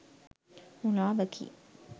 මුළාවකි.